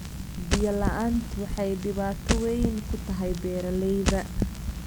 Biyo la'aantu waxay dhibaato weyn ku tahay beeralayda.